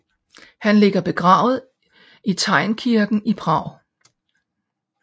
Han ligger begravet i Teynkirken i Prag